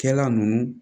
Kɛla ninnu